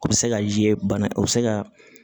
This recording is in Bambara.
O bɛ se ka ye bana o bɛ se ka